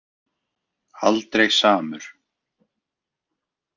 Aldrei samur.